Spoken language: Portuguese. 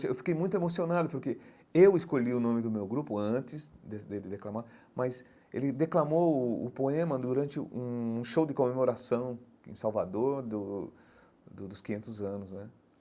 Eu fiquei muito emocionado, porque eu escolhi o nome do meu grupo antes de dele declamar, mas ele declamou o poema durante um show de comemoração em Salvador do do dos quinhentos anos né.